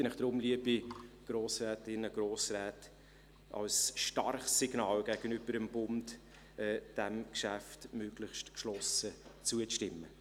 Ich bitte Sie deshalb, liebe Grossrätinnen, liebe Grossräte, als starkes Signal gegenüber dem Bund, diesem Geschäft möglichst geschlossen zuzustimmen.